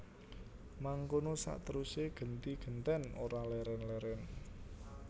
Mangkono saterusé genti gentèn ora lèrèn lèrèn